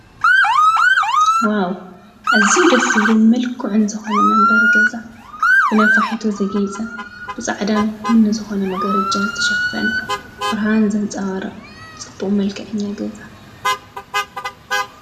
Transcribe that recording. ዋው እዝው ደስዝብልን ምልኩዕን ዝኾነ መንበር ገዛ ብነፋሒቶ ዘጌይጸ ብጻዕዳን ቡኒ ዝኾነ መገረጃን ዝተሸፈነ ብርሃን ዘንፀዋረ ጽቡኦ መልከዕኛ ገዛ